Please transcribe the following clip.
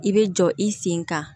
I bɛ jɔ i sen kan